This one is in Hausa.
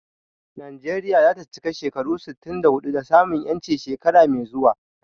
Najeriya za ta cika shekaru sittin da huɗu da samun 'yanci shekara mai zuwa.